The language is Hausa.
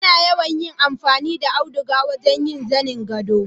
Ana yawan yin amfani da auduga wurin yin zanin gado.